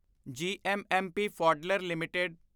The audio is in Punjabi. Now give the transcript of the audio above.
GMMP Pfaudler LTD